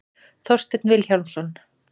Þorsteinn Vilhjálmsson.